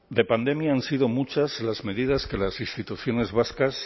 de pandemia han sido muchas las medidas que las instituciones vascas